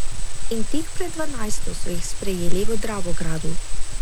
In tik pred dvanajsto so jih sprejeli v Dravogradu.